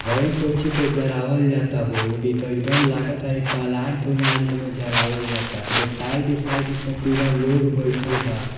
हई कोय चीज के जरा वल जाअता होअ इ ते एकदम लागाता इ प्लांट उलांट में जरावल जाअता ए के साइड साइड से पूरा लोग बैठएल बा।